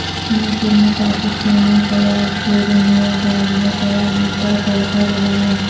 محفل میں پاکستانی قوال شیر میاں داد نے قوالی کا تڑکا لگایا